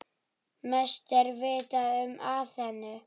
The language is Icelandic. Mest er vitað um Aþenu.